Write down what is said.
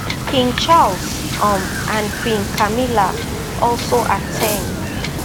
king charles um and queen camilla also at ten d